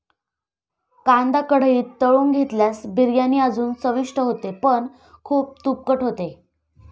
कांदा कढईत तळून घेतल्यास बिर्याणी अजून चविष्ट होते पण खूप तुपकट होते.